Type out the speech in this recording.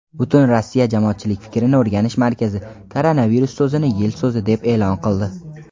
Butunrossiya jamoatchilik fikrini o‘rganish markazi "koronavirus" so‘zini yil so‘zi deb e’lon qildi.